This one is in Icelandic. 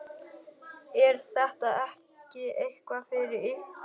Er þetta ekki eitthvað fyrir ykkur